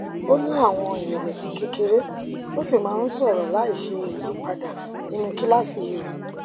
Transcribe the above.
ó ní àwọn ìrẹwẹsì kékeré ó sì máa ń sọrọ láìṣe ìyípadà nínú kíláàsì rẹ